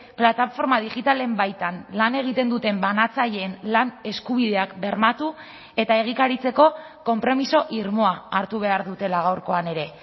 plataforma digitalen baitan lan egiten duten banatzaileen lan eskubideak bermatu eta egikaritzeko konpromiso irmoa hartu behar dutela gaurkoan ere